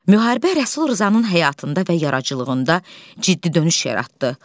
Müharibə Rəsul Rzanın həyatında və yaradıcılığında ciddi dönüş yaratdı.